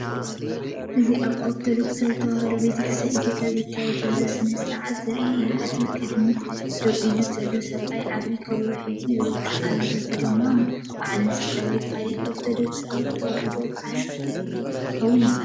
እዚ ኣብ ኦርቶዶክስ ተዋህዶ ቤተክርስትያን ኢትዮጵያ ዝካየድ ዘሎ ስነ-ስርዓት ዘርኢ እዩ። እቲ ኣብ ቅድሚት ደው ኢሉ ዘሎ ሰብኣይ ዓቢ ከበሮ ሒዙ ይወቅዕ ኣሎ። እዚ ድማ በዓል መስቀል፡ ወይ ካልእ ኦርቶዶክስ ተዋህዶ በዓል ክኸውን ይኽእል።